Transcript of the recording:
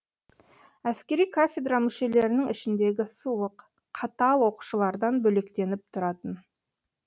әскери кафедра мүшелерінің ішіндегі суық қатал оқытушылардан бөлектеніп тұратын